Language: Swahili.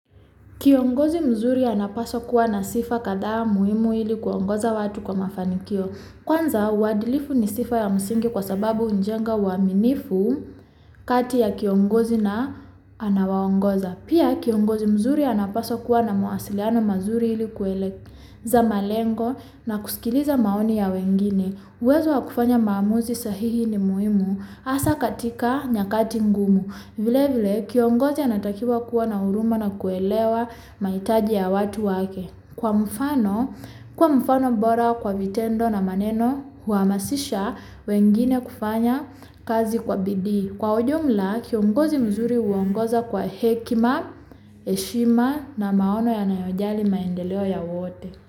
Kiongozi mzuri anapaswa kuwa na sifa kathaa muhimu ilikuwa kuongoza watu kwa mafanikio. Kwanza, uadhilifu ni sifa ya mzingi kwa sababu hujenga uwaminifu kati ya kiongozi na anawaongoza. Pia kiongozi mzuri anapaswa kuwa na mawasiliano mazuri ilikuweleza malengo na kuskiliza maoni ya wengine. Uwezo wa kufanya maamuzi sahihi ni muhimu hasa katika nyakati ngumu. Vile vile kiongozi anatakiwa kuwa na huruma na kuelewa mahitaji ya watu wake. Kwa mfano, kwa mfano bora kwa vitendo na maneno huhamasisha wengine kufanya kazi kwa bidii. Kwa ujumla kiongozi mzuri huongoza kwa hekima, heshima na maono ya na yojali maendeleo ya wote.